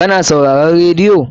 Ka na sauraron radiyo?